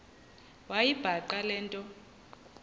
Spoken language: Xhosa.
wayibhaqa le nto